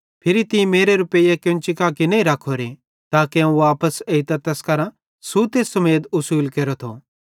फिरी तीं मेरे रुपैइये केन्ची कां किजो नईं रखोरे ताके अवं वापस एइतां तैस करां सुते समेत उसुल केरेथो